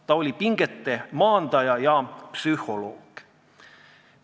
Ta oli pingete maandaja ja psühholoog.